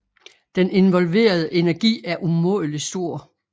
Den involverede energi er umådelig stor